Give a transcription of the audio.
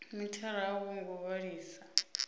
mithara a wo ngo vhalisa